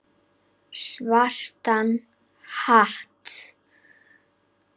Svartan hatt.